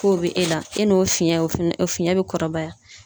K'o bɛ e la, e n'o fiyɛn ,o fana o fiɲɛ bɛ kɔrɔbaya.